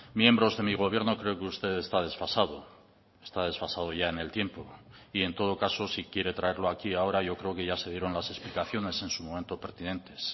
miembros de mi gobierno creo que usted está desfasado está desfasado ya en el tiempo y en todo caso si quiere traerlo aquí ahora yo creo que ya se dieron las explicaciones en su momento pertinentes